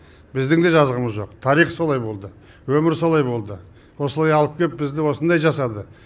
біздіңде жазығымыз жоқ тарих солай болды өмір солай болды осылай алып келіп бізді осындай жасады